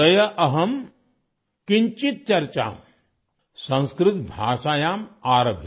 अद्य अहं किञ्चित् चर्चा संस्कृत भाषायां आरभे |